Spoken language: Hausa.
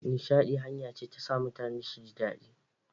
Nishaɗi hanya ce ta sa mutane su ji daɗi.